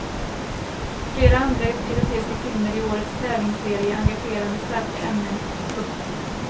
Flera andra europeiska filmer i årets tävlingsserie engagerar med starka ämnen. punkt